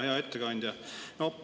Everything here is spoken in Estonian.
Hea ettekandja!